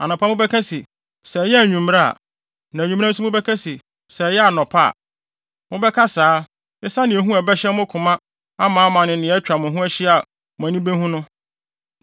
Anɔpa mobɛka se, “Sɛ ɛyɛɛ anwummere a!” Na anwummere nso mobɛka se, “Sɛ ɛyɛɛ anɔpa a!” Mobɛka saa, esiane ehu a ɛbɛhyɛ mo koma amaama ne nea atwa mo ho ahyia a mo ani behu no.